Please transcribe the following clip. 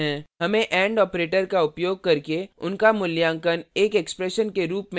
हमें and operator का उपयोग करके उनका मूल्यांकन एक expression के रूप में करना है